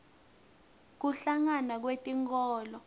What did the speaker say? kuhlangana kwetinkholo